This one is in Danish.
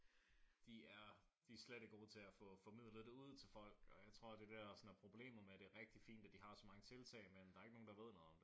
De er de er slet ikke gode til at få formidlet det ud til folk. Og jeg tror det der er sådan problemet med det er rigtig fint at de har så mange tiltag men der er ikke nogen der ved noget om det